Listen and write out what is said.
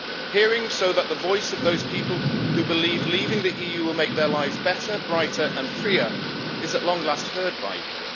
Hearing, so that the voice of those people who believe leaving the EU will make their lives better, brighter and freer is at long last heard by you.